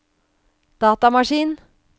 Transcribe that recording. datamaskin